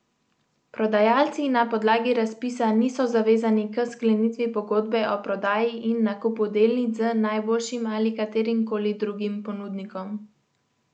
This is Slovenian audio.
Prodajalci na podlagi razpisa niso zavezani k sklenitvi pogodbe o prodaji in nakupu delnic z najboljšim ali katerim koli drugim ponudnikom.